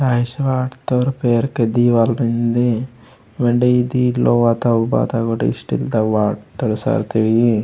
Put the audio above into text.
लाइट्स वाटत्तोर पेरके दीवाल मेन्दे वेंडे ईदी लोहा ता बाता स्टील तगा वाटत्तोर सरथाइ।